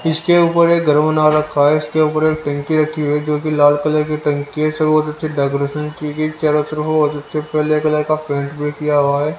इसके ऊपर एक गरम नार रखा है इसके ऊपर एक टंकी रखी हुई है जो कि लाल कलर की टंकी है सब अच्छे से डेकोरेशन की गई चारों तरफ बहत अच्छे पीले कलर का पेंट भी किया हुआ है।